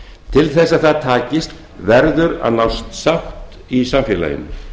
til þess að það takist verður að nást sátt í samfélaginu